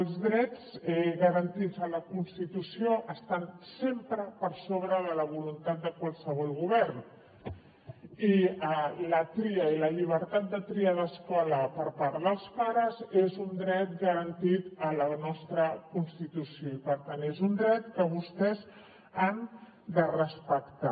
els drets garantits a la constitució estan sempre per sobre de la voluntat de qualsevol govern i la tria i la llibertat de triar l’escola per part dels pares és un dret garantit a la nostra constitució i per tant és un dret que vostès han de respectar